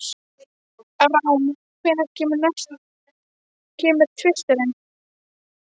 Rán, hvenær kemur tvisturinn?